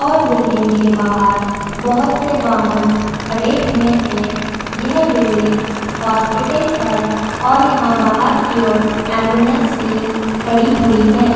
और बिल्डिंग के बाहर बहोत से वाहन खड़े हुएं हैं यह बिल्डिंग हॉस्पिटल है और यहाँ बाहर की ओर एंबुलेंस भी खड़ी हुई है।